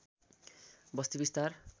बस्ती विस्तार